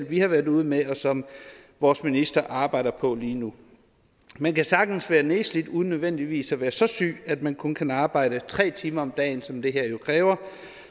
vi har været ude med og som vores minister arbejder på lige nu man kan sagtens være nedslidt uden nødvendigvis at være så syg at man kun kan arbejde tre timer om dagen som det her jo kræver